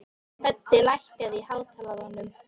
Höddi, lækkaðu í hátalaranum.